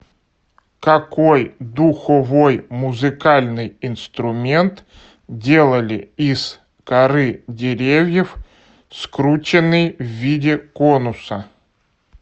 какой духовой музыкальный инструмент делали из коры деревьев скрученный в виде конуса